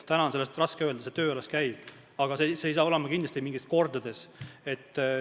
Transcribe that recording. Täna on sellest raske rääkida, see töö alles käib, aga see maks ei ole kindlasti mitu korda suurem.